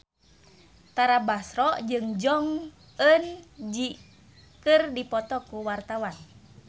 Tara Basro jeung Jong Eun Ji keur dipoto ku wartawan